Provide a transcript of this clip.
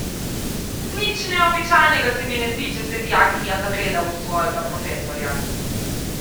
Nič neobičajnega se mi ne zdi, če se dijakinja zagleda v svojega profesorja.